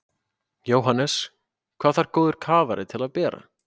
Jóhannes: Hvað þarf góður kafari til að bera?